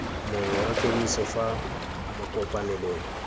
mongwe wa kemiso fa makopanelong